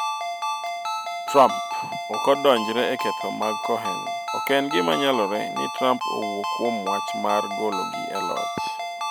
Trump; Ok adonjre e ketho mag Cohen Ok en gima nyalore ni Trump owuo kuom wach mar gologi e loch.